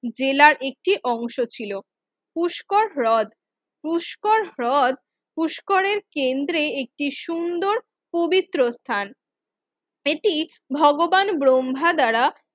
জেলার একটি অংশ ছিল পুষ্কর হ্রদ পুষ্কর হ্রদ পুষ্করের কেন্দ্রে একটি সুন্দর পবিত্র স্থান এটি ভগবান ব্রহ্মা দ্বারা